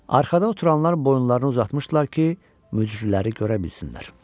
Arxada oturanlar boyunlarını uzatmışdılar ki, möcürüləri görə bilsinlər.